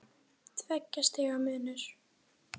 Tveggja stiga munur.